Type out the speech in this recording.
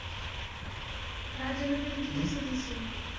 पायीची भागीदारी ये परत privet limited company अ अ limited company अ अ